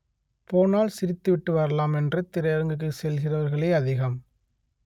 போனால் சி‌ரித்துவிட்டு வரலாம் என்று திரையரங்குக்கு செல்கிறவர்களே அதிகம்